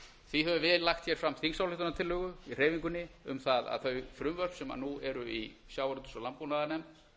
því höfum við hér lagt fram þingsályktunartillögu í hreyfingunni um það að þau frumvörp sem nú eru í sjávarútvegs og landbúnaðarnefnd